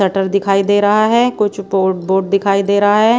Shutter दिखाई दे रहा हैं कुछ बोर्ड बोर्ड दिखाई दे रहा हैं।